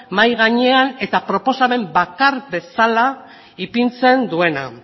mahai gainean eta proposamen bakar bezala ipintzen duena